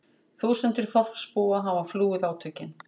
Þúsundir þorpsbúa hafa flúið átökin